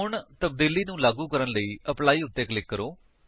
ਹੁਣ ਤਬਦੀਲੀ ਨੂੰ ਲਾਗੂ ਕਰਨ ਲਈ ਐਪਲੀ ਉੱਤੇ ਕਲਿਕ ਕਰੋ